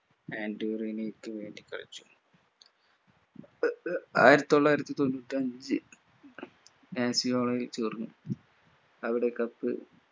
അൻഡോറിനക്കു വേണ്ടി കളിച്ചു ആയിരത്തിത്തൊള്ളായിരത്തിതൊണ്ണൂറ്റിയഞ്ചിൽ ആസിയോയിൽ ചേർന്നു അവിടെ cup